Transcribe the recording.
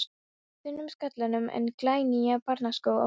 þunnum skallanum en glænýja barnaskó á fótum.